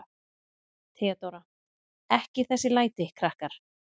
THEODÓRA: Ekki þessi læti, krakkar.